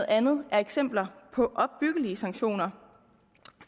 andet er eksempler på opbyggelige sanktioner